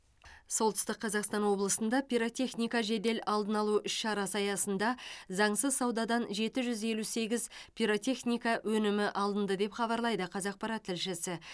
солтүстік қазақстан облысында пиротехника жедел алдын алу іс шарасы аясында заңсыз саудадан жеті жүз елу сегіз пиротехника өнімі алынды деп хабарлайды қазақпарат тілшісі